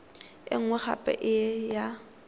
e nngwe gape e ya